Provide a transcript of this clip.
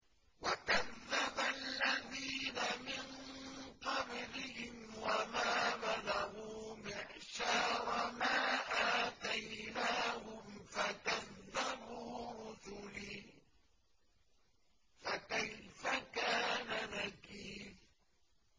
وَكَذَّبَ الَّذِينَ مِن قَبْلِهِمْ وَمَا بَلَغُوا مِعْشَارَ مَا آتَيْنَاهُمْ فَكَذَّبُوا رُسُلِي ۖ فَكَيْفَ كَانَ نَكِيرِ